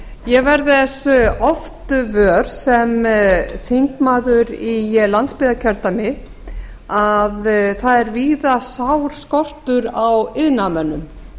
ég verð þess oft vör sem þingmaður í landsbyggðarkjördæmi að það er víða sár skortur á iðnaðarmönnum